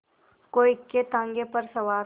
कोई इक्केताँगे पर सवार